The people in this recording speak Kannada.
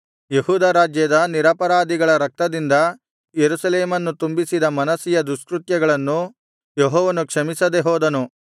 ಯೆಹೂದ ರಾಜ್ಯದ ನಿರಪರಾಧಿಗಳ ರಕ್ತದಿಂದ ಯೆರೂಸಲೇಮನ್ನು ತುಂಬಿಸಿದ ಮನಸ್ಸೆಯ ದುಷ್ಕೃತ್ಯಗಳನ್ನು ಯೆಹೋವನು ಕ್ಷಮಿಸದೆ ಹೋದನು